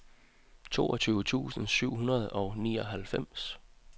toogtyve tusind syv hundrede og nioghalvfems